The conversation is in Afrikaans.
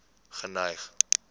geneig